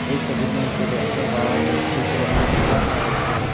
এই সবির মইধ্যে দেখতে পাওয়া যাচ্ছে যে একটি গরর রয়েসে।